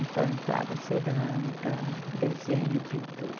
Então, entrava cerâmica, desenho e pintura.